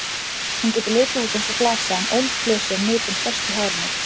Hún getur litið út eins og flasa en ólíkt flösu er nitin föst í hárinu.